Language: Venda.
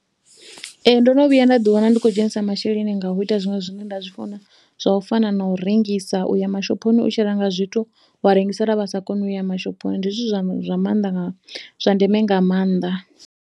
Ee ndo no vhuya nda ḓiwana ndi khou dzhenisa masheleni nga u ita zwiṅwe zwine nda zwi funa, zwa u fana na u rengisa. U ya mashophoni u tshi renga zwithu wa rengisela vha sa koni u ya mashophoni, ndi zwithu zwa maanḓa, zwa ndeme nga maanḓa.